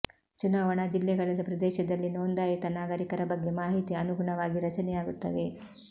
ಚುನಾವಣಾ ಜಿಲ್ಲೆಗಳಲ್ಲಿ ಪ್ರದೇಶದಲ್ಲಿ ನೋಂದಾಯಿತ ನಾಗರಿಕರ ಬಗ್ಗೆ ಮಾಹಿತಿ ಅನುಗುಣವಾಗಿ ರಚನೆಯಾಗುತ್ತವೆ